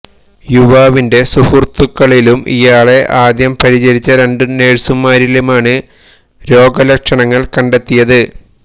യുവാവിന്റെ സുഹൃത്തുകളിലും ഇയാളെ ആദ്യം പരിചരിച്ച രണ്ട് നഴ്സുമാരിലുമാണ് രോഗ ലക്ഷണങ്ങള് കണ്ടെത്തിയത്